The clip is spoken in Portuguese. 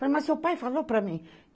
Falei, mas seu pai falou para mim.